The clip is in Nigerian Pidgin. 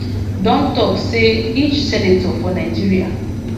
don tok say each senator for nigeria